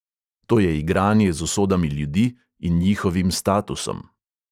To je igranje z usodami ljudi in njihovim statusom.